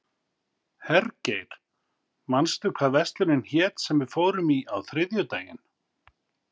Hergeir, manstu hvað verslunin hét sem við fórum í á þriðjudaginn?